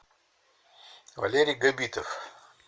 валерий габитов